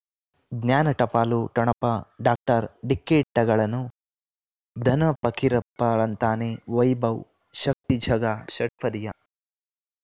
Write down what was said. ಜ್ಞಾನ ಟಪಾಲು ಠೊಣಪ ಡಾಕ್ಟರ್ ಢಿಕ್ಕಿ ಣಗಳನು ಧನ ಫಕೀರಪ್ಪ ಳಂತಾನೆ ವೈಭವ್ ಶಕ್ತಿ ಝಗಾ ಷಟ್ಪದಿಯ